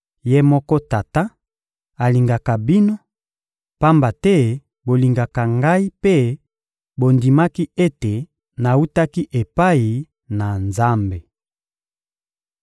Ye moko Tata alingaka bino, pamba te bolingaka Ngai mpe bondimaki ete nawutaki epai na Nzambe.